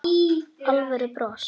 Það var alvöru bros.